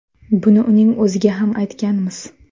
Buni uning o‘ziga ham aytganmiz.